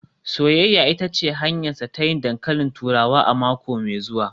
“Soyayya ita ce hanyarsa ta yin dankalin turawa a mako mai zuwa